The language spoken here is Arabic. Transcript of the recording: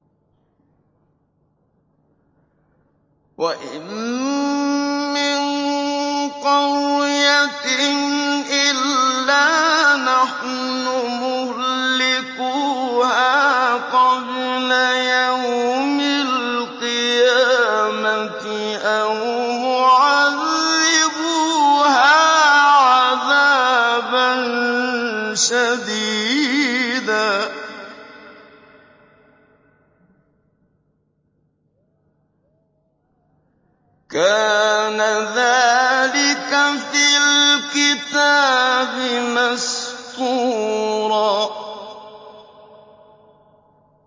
وَإِن مِّن قَرْيَةٍ إِلَّا نَحْنُ مُهْلِكُوهَا قَبْلَ يَوْمِ الْقِيَامَةِ أَوْ مُعَذِّبُوهَا عَذَابًا شَدِيدًا ۚ كَانَ ذَٰلِكَ فِي الْكِتَابِ مَسْطُورًا